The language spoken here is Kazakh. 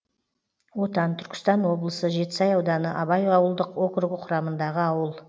отан түркістан облысы жетісай ауданы абай ауылдық округі құрамындағы ауыл